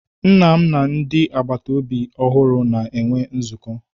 Nna m na ndị agbata obi ọhụrụ na-enwe nzukọ